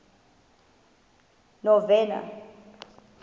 novena